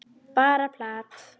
Bara plat.